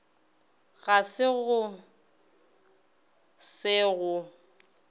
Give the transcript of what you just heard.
ga se go se go